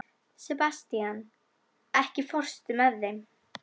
Sebastian, ekki fórstu með þeim?